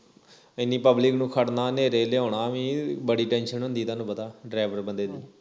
ਇੰਨੀ public ਨੂੰ ਖੜਨਾ ਨੇਰੇ ਲਿਆਉਣਾ ਵੀ ਬੜੀ tension ਹੁੰਦੀ ਤੁਹਾਨੂੰ ਪਤਾ driver ਬੰਦੇ ਦੀ